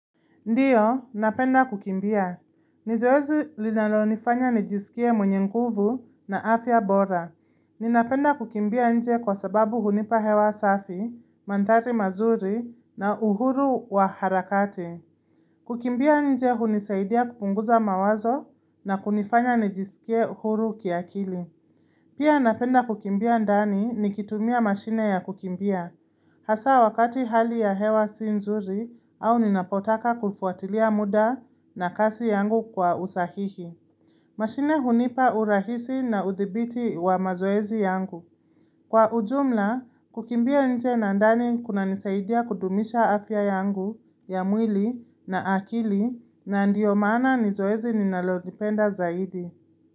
Ndiyo, napenda kukimbia. Nizoezi linalo nifanya nijisikie mwenye nguvu na afya bora. Ninapenda kukimbia nje kwa sababu hunipa hewa safi, mandhari mazuri na uhuru wa harakati. Kukimbia nje hunisaidia kupunguza mawazo na kunifanya nijisikie uhuru kiakili. Pia napenda kukimbia ndani ni kitumia mashine ya kukimbia, hasa wakati hali ya hewa si nzuri au ninapotaka kufuatilia muda na kasi yangu kwa usahihi. Mashine hunipa urahisi na uthibiti wa mazoezi yangu. Kwa ujumla, kukimbia nje na ndani kuna nisaidia kudumisha afya yangu ya mwili na akili na ndiyo maana nizoezi ninalolipenda zaidi.